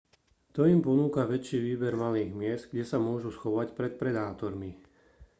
to im ponúka väčší výber malých miest kde sa môžu schovať pred predátormi